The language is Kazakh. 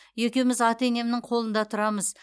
екеуміз ата енемнің қолында тұрамыз